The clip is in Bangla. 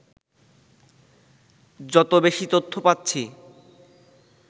যত বেশি তথ্য পাচ্ছি